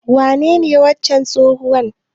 Wanene wancan tsohon?